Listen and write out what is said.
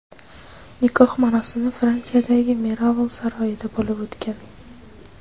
Nikoh marosimi Fransiyadagi Miraval saroyida bo‘lib o‘tgan.